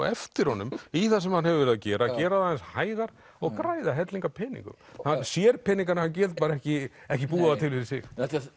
eftir honum í það sem hann hefur verið að gera gera það aðeins hægar og græða helling af peningum hann sér peningana en getur ekki ekki búið þá til fyrir sig